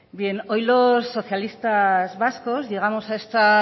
bien hoy los socialistas vascos llegamos a esta